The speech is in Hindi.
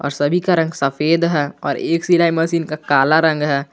और सभी का रंग सफेद है और एक सिलाई मशीन का काला रंग है।